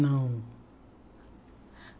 Não.